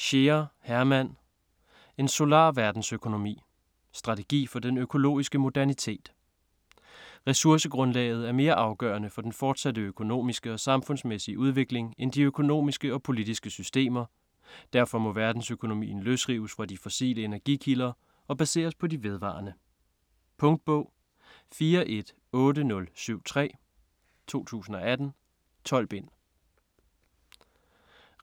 Scheer, Hermann: En solar verdensøkonomi: strategi for den økologiske modernitet Ressourcegrundlaget er mere afgørende for den fortsatte økonomiske og samfundsmæssige udvikling end de økonomiske og politiske systemer, derfor må verdensøkonomien løsrives fra de fossile energikilder og baseres på de vedvarende. Punktbog 418073 2018. 12 bind.